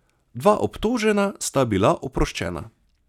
Dva obtožena sta bila oproščena.